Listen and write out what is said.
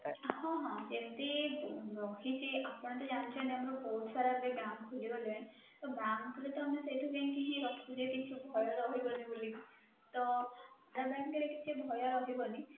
ହଁ, ହଁ ଯେମିତି ରହିଛି ଆପଣ ତ ଜାଣିଛନ୍ତି ଆମର ବହୁତ ସାରା ଏବେ bank ଖୋଲିଗଲାଣି ତ bank ରେ ତ ଆମେ ସେଇଠି ବି ଯାଇକି ରଖିପାରିବା ତ କିଛି ଭୟ ରହିବନି ବୋଲି ତ canara bank ରେ କିଛି ଭୟ ରହିବନି